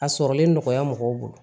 A sɔrɔlen nɔgɔya mɔgɔw bolo